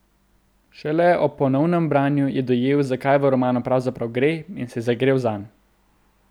Šele ob ponovnem branju je dojel, za kaj v romanu pravzaprav gre, in se je zagrel zanj.